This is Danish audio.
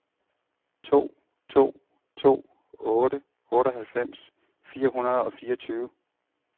to to to otte otteoghalvfems fire hundrede og fireogtyve